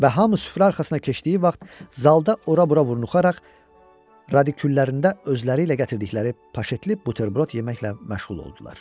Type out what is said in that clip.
Və hamı süfrə arxasına keçdiyi vaxt zalda ora-bura burunuxaraq radiküllərində özləri ilə gətirdikləri paşetlik buterbrod yeməklə məşğul oldular.